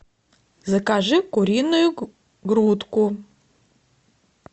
закажи куриную грудку